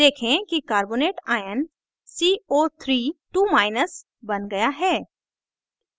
देखें कि carbonate ion co